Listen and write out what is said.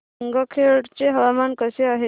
गंगाखेड चे हवामान कसे आहे